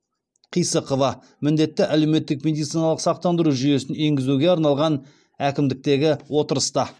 қисықова міндетті әлеуметтік медициналық сақтандыру жүйесін енгізуге арналған әкімдіктегі отырыста